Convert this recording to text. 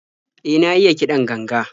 E, na iya kiɗan ganga.